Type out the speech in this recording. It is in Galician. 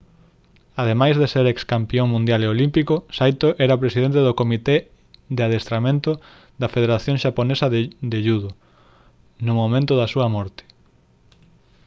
ademais de ser excampión mundial e olímpico saito era presidente do comité de adestramento da federación xaponesa de judo no momento da súa morte